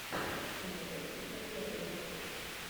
ты найдешь у себя первые батл